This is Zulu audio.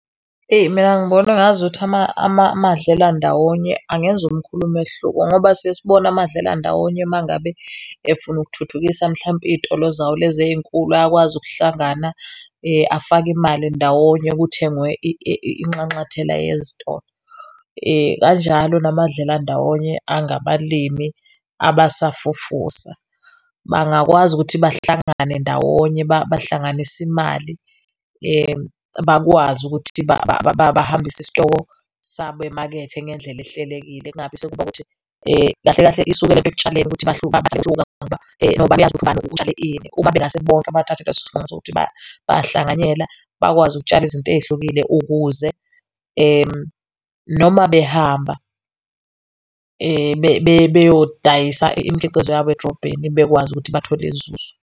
Mina ngibona engazuthi amadlelandawonye angenza omkhulu umehluko ngoba siye sibone amadlelandawonye uma ngabe efuna ukuthuthukisa mhlawumpe izitolo zawo lezi eyinkulu, ayakwazi ukuhlangana afake imali ndawonye kuthengwe inxanxathela yezitolo. Kanjalo namadlelandawonye angabalimi abasafufusa bangakwazi ukuthi bahlangane ndawonye bahlanganise imali bakwazi ukuthi bahambise isitoko sabo emakethe ngendlela ehlelekile, kungabi sekuba ukuthi kahle kahle isukela ekutshaleni ukuthi bayahluka ngoba bayazi ukuthi ubani utshale ini. Uma bengase bonke bathathe leso sinqumo sokuthi bayahlanganyela bakwazi ukutshala izinto ezihlukile ukuze noma behamba beyodayisa imikhiqizo yabo edrobheni, bekwazi ukuthi bethole inzuzo.